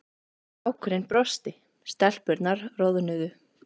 Strákurinn brosti, stelpurnar roðnuðu.